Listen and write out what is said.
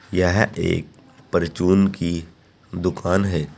यह एक परचून की दुकान है।